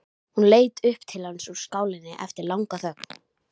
Hún leit til hans upp úr skálinni eftir langa þögn.